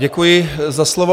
Děkuji za slovo.